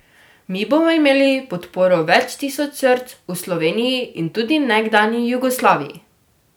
Mi bomo imeli podporo več tisoč src v Sloveniji in tudi nekdanji Jugoslaviji.